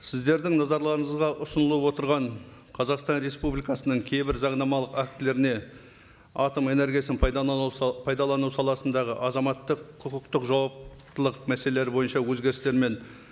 сіздердің назарларыңызға ұсынылып отырған қазақстан республикасының кейбір заңнамалық актілеріне атом энергиясын пайдалану саласындағы азаматтық құқықтық жауаптылық мәселелері бойынша өзгерістер мен